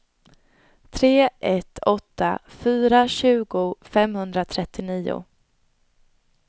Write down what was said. tre ett åtta fyra tjugo femhundratrettionio